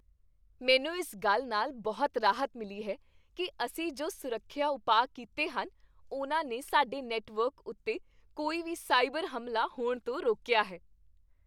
ਮੈਨੂੰ ਇਸ ਗੱਲ ਨਾਲ ਬਹੁਤ ਰਾਹਤ ਮਿਲੀ ਹੈ ਕੀ ਅਸੀਂ ਜੋ ਸੁਰੱਖਿਆ ਉਪਾਅ ਕੀਤੇ ਹਨ, ਉਨ੍ਹਾਂ ਨੇ ਸਾਡੇ ਨੈੱਟਵਰਕ ਉੱਤੇ ਕੋਈ ਵੀ ਸਾਈਬਰ ਹਮਲਾ ਹੋਣ ਤੋਂ ਰੋਕਿਆ ਹੈ।